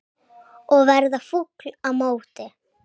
Og verða fúll á móti!